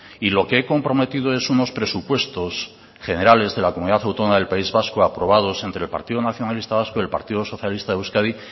y lo que he comprometido es unos presupuestos generales de la comunidad autónoma del país vasco aprobados entre el partido nacionalista vasco y el partido socialista de euskadi